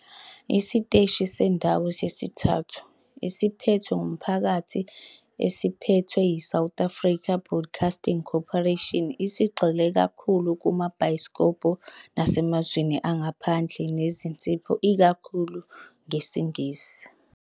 Isiteshi sendawo sesithathu esiphethwe ngumphakathi esiphethwe yiSouth African Broadcasting Corporation, esigxile kakhulu kumabhayisikobho nasemazweni angaphandle nezinsipho ikakhulu ngesiNgisi.